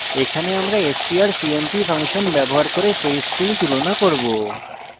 এখানে আমরা strcmp function ব্যবহার করে সেই string তুলনা করব